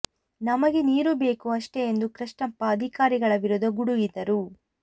ನಮಗೆ ನೀರು ಬೇಕು ಅಷ್ಟೇ ಎಂದು ಕೃಷ್ಣಪ್ಪ ಅಧಿಕಾರಿಗಳ ವಿರುದ್ಧ ಗುಡುಗಿದರು